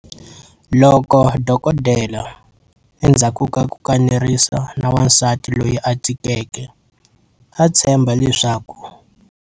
Loko dokodela, endzhaku ka ku kanerisana na wansati loyi a tikeke, a tshemba leswaku.